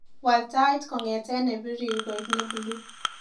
Wal tait kongete nebirir koek mebuluu